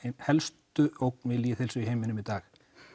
helstu ógn við lýðheilsu í heiminum í dag